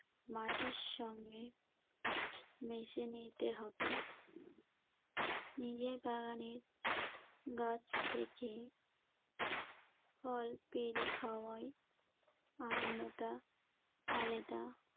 মাটির সঙ্গে মিশিয়ে নিতে হবে। নিজের বাগানের গাছ থেকে ফল পেড়ে খাওয়ার আনন্দটা আলেদা।